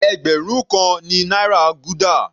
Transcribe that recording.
Ẹgbẹrun kan náírà ni gúdà.